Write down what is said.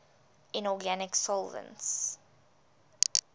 inorganic solvents